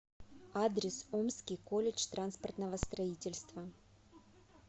адрес омский колледж транспортного строительства